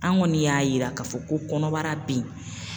An kɔni y'a yira k'a fɔ ko kɔnɔbara beyi.